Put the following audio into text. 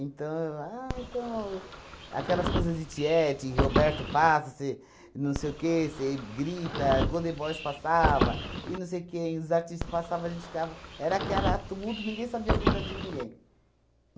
eu ah então aquelas coisas de tiete, Roberto passa, você não sei o quê, você grita, Golden Boys passava, e não sei quem, os artistas passavam, a gente ficava... Era aquela tumulto, ninguém sabia a vida de ninguém.